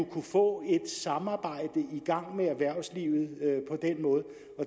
kunne få et samarbejde i gang med erhvervslivet